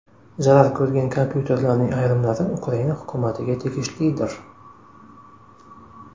Zarar ko‘rgan kompyuterlarning ayrimlari Ukraina hukumatiga tegishlidir.